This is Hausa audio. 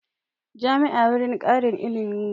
Jami'a wurin ƙarin ilimi ne